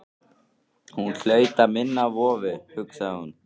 Hún hlaut að minna á vofu, hugsaði hún.